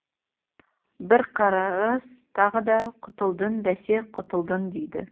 бірқарыс тағы да құтылдың бәсе құтылдың дейді